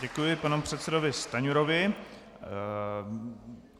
Děkuji panu předsedovi Stanjurovi.